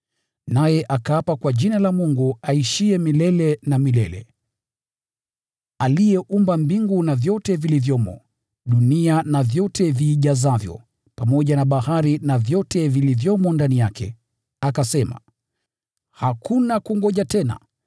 Naye akaapa kwa Yule aishiye milele na milele, aliyeumba mbingu na vyote vilivyomo, dunia na vyote viijazavyo, pamoja na bahari na vyote vilivyomo ndani yake, akasema, “Hakuna kungoja tena!